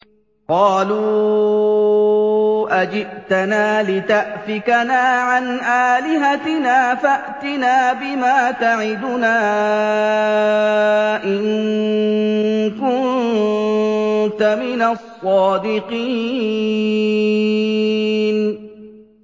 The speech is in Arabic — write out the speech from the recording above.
قَالُوا أَجِئْتَنَا لِتَأْفِكَنَا عَنْ آلِهَتِنَا فَأْتِنَا بِمَا تَعِدُنَا إِن كُنتَ مِنَ الصَّادِقِينَ